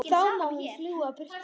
Þá má hún fljúga burtu.